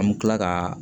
An bɛ tila ka